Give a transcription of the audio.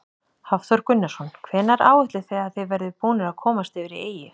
Hafþór Gunnarsson: Hvenær áætlið þið að þið verðið búnir að komast yfir í eyju?